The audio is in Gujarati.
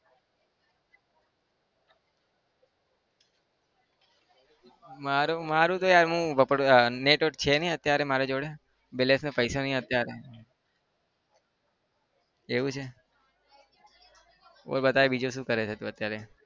મારું મારું તો યાર હું network છે નહિ અત્યારે મારી જોડે balance ના પૈસા નહિ અત્યારે. એવું છે? બોલ બતાય બીજું શું કરે છે તું અત્યારે?